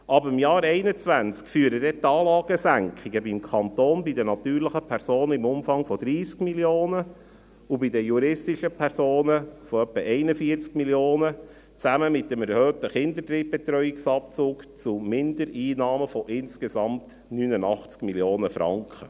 Ab dem Jahr 2021 führen die Anlagesenkungen beim Kanton bei den natürlichen Personen im Umfang von 30 Mio. Franken und bei den juristischen Personen von ungefähr 41 Mio. Franken zusammen mit dem erhöhten Kinderdrittbetreuungsabzug zu Mindereinnahmen von insgesamt 89 Mio. Franken.